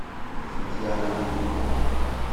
сантьяго де куба